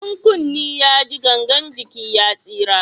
In kunne ya ji gangan jiki ya tsira